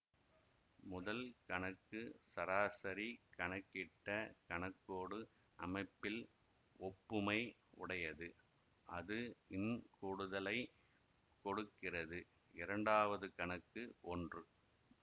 முதல் கணக்கு சராசரி கணக்கிட்ட கணக்கோடு அமைப்பில் ஒப்புமை உடையது அது ன் கூடுதலை கொடுக்கிறது இரண்டாவது கணக்கு ஒன்று